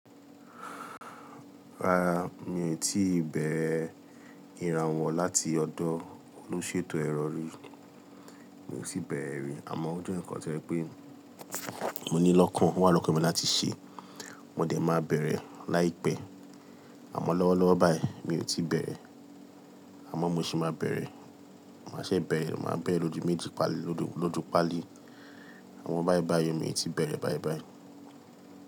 Rárá mi i tíì bẹ̀rẹ̀ ìrànwọ́ láti ọ̀dọ̀ olúṣètò èrọ̀rí, mi ò tí bẹ̀rẹ̀ rí àmọ́ ó jẹ́ ǹkan tí ẹ pé mo ní lọ́kàn, wọ́n wà lọ́kàn mi láti ṣe, wọ́n ò de má bẹ̀rẹ̀ láìpẹ́. Àmọ́ lọ́wọ́lọ́wọ́ báyìí mi ò tí bẹ̀rẹ̀, àmọ́ mo sì máa bẹ̀rẹ̀, màá ṣe bẹ̀rẹ̀, màá bẹ̀rẹ̀ lójú méjì pálì, lójú pálì, àmọ́ báìbàí mi ò tí bẹ̀rẹ̀ báìbàí.